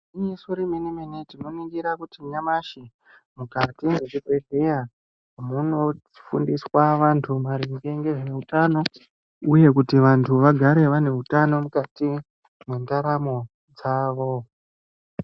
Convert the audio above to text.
Igwinyiso remene mene tinoningira kuti nyamashi mukati mezvibhedhleya munofundiswa antu maringe nezveutano, uye kuti vantu vagare vane utano mukati mwendaramo dzavo.